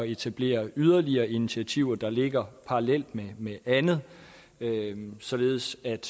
etablere yderligere initiativer der ligger parallelt med andet således at